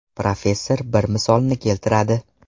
Professor bir misolni keltiradi.